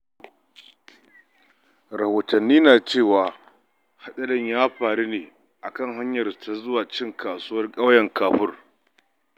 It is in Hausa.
Rahotanni na cewa hatsarin ya faru ne a kan hanyar su ta zuwa cin kasuwar ƙauyen Ƙafur.